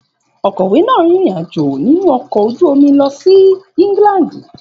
Òkọ̀wé náà rin ìrìn-àjò nínú ọkọ̀ ojú omi lọ sí England.